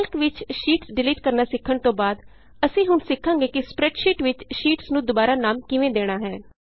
Calc ਵਿਚ sheets delete ਕਰਨਾ ਸਿੱਖਣ ਤੋਂ ਬਾਅਦ ਅਸੀਂ ਹੁਣ ਸਿੱਖਾਂਗੇ ਕਿ ਸਪਰੈੱਡਸ਼ੀਟ ਵਿਚ ਸ਼ੀਟਸ ਨੂੰ ਦੁਬਾਰਾ ਨਾਮ ਕਿਵੇਂ ਦੇਣਾ ਹੈ